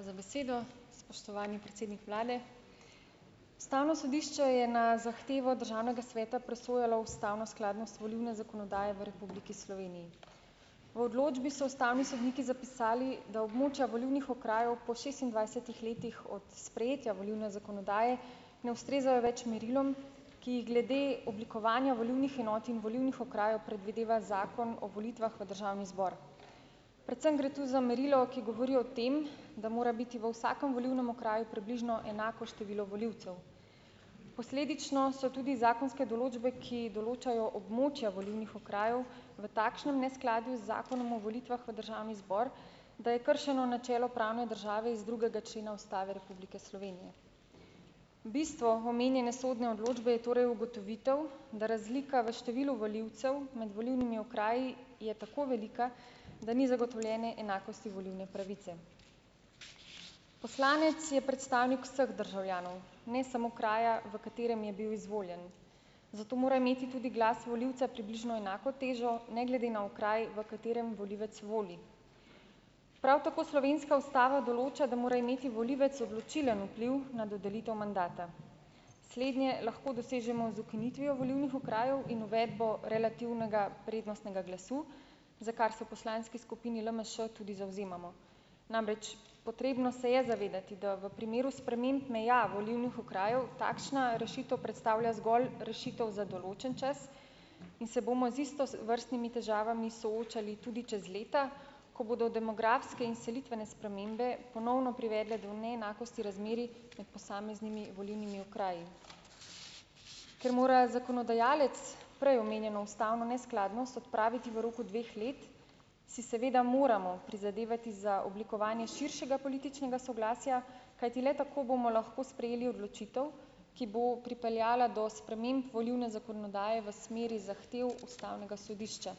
Hvala za besedo. Spoštovani predsednik vlade! Ustavno sodišče je na zahtevo Državnega sveta presojalo ustavno skladnost volilne zakonodaje v Republiki Sloveniji. V odločbi so ustavni sodniki zapisali, da območja volilnih okrajev po šestindvajsetih letih od sprejetja volilne zakonodaje ne ustrezajo več merilom, ki jih glede oblikovanja volilnih enot in volilnih okrajev predvideva Zakon o volitvah v Državni zbor. Predvsem gre tu za merilo, ki govori o tem, da mora biti v vsakem volilnem okraju približno enako število volivcev. Posledično so tudi zakonske določbe, ki določajo območja volilnih okrajev, v takšnem neskladju z Zakonom o volitvah v Državni zbor, da je kršeno načelo pravne države iz drugega člena Ustave Republike Slovenije. Bistvo omenjene sodne odločbe je torej ugotovitev, da razlika v številu volivcev med volilnimi okraji je tako velika, da ni zagotovljene enakosti volilne pravice. Poslanec je predstavnik vseh državljanov, ne samo kraja, v katerem je bil izvoljen, zato mora imeti tudi glas volivca približno enako težo, ne glede na okraj, v katerem volivec voli. Prav tako slovenska ustava določa, da mora imeti volivec odločilen vpliv na dodelitev mandata. Slednje lahko dosežemo z ukinitvijo volilnih okrajev in uvedbo relativnega prednostnega glasu, za kar se v poslanski skupini LMŠ tudi zavzemamo. Namreč, potrebno se je zavedati, da v primeru sprememb meja volilnih okrajev takšna rešitev predstavlja zgolj rešitev za določen čas in se bomo z istovrstnimi težavami soočali tudi čez leta, ko bodo demografske in selitvene spremembe ponovno privedle do neenakosti razmerij med posameznimi volilnimi okraji. Ker mora zakonodajalec prej omenjeno ustavno neskladnost odpraviti v roku dveh let, si seveda moramo prizadevati za oblikovanje širšega političnega soglasja, kajti le tako bomo lahko sprejeli odločitev, ki bo pripeljala do sprememb volilne zakonodaje v smeri zahtev ustavnega sodišča.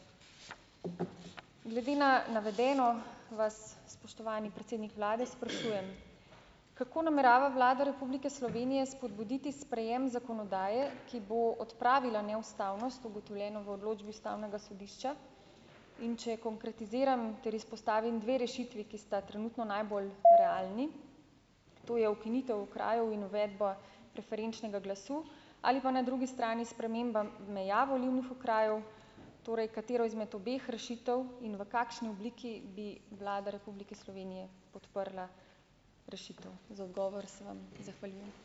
Glede na navedeno vas, spoštovani predsednik vlade, sprašujem: Kako namerava Vlada Republike Slovenije spodbuditi sprejem zakonodaje, ki bo odpravila neustavnost, ugotovljeno v odločbi ustavnega sodišča? In če konkretiziram ter izpostavim dve rešitvi, ki sta trenutno najbolj realni, to je ukinitev okrajev in uvedba preferenčnega glasu ali pa na drugi strani sprememba meja volilnih okrajev, torej katero izmed obeh rešitev in v kakšni obliki bi Vlada Republike Slovenije podprla rešitev. Za odgovor se vam zahvaljujem.